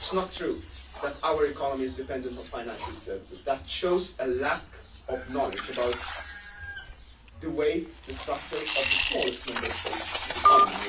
It is not true that our economy is dependent on financial services that shows a lack of knowledge about the structure of the smallest Member State's economy.